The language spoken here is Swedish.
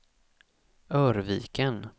Örviken